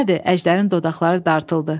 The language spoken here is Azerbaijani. Bu nədir, Əjdərin dodaqları dartıldı.